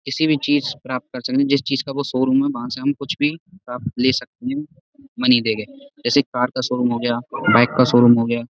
किसी भी चीज़ प्राप्त कर सकते जिस चीज़ का वो शोरूम है वहाँ से हम कुछ भी प्राप्त ले सकते हैं मनी देके जैसे कार का शोरूम हो गया बाइक का शोरूम हो गया।